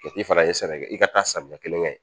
Kɛ i fana ye sɛnɛ kɛ i ka taa samiya kelen kɛ